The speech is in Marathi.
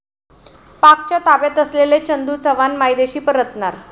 पाकच्या ताब्यात असलेले चंदू चव्हाण मायदेशी परतणार